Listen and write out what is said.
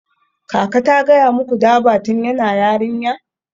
Kaka ta gaya muku Durbar tun tana yarinya?